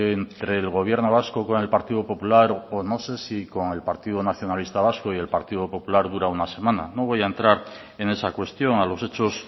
entre el gobierno vasco con el partido popular o no se sí con el partido nacionalista vasco y el partido popular dura una semana no voy a entrar en esa cuestión a los hechos